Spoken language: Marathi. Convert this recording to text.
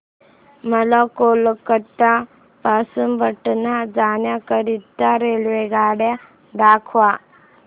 मला कोलकता पासून पटणा जाण्या करीता रेल्वेगाड्या दाखवा